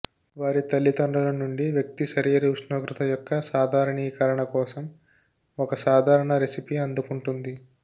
వారి తల్లిదండ్రుల నుండి వ్యక్తి శరీర ఉష్ణోగ్రత యొక్క సాధారణీకరణ కోసం ఒక సాధారణ రెసిపీ అందుకుంటుంది